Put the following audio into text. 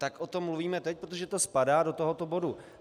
Tak o tom mluvíme teď, protože to spadá do tohoto bodu.